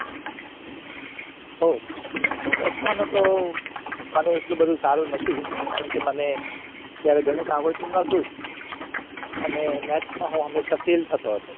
ohh દસમામાં તો મને એટલી બધી સારી નથી કારણ કે મને ગણિત આવડતું નાતુ અને maths હું હંમેશા fail થતો જતો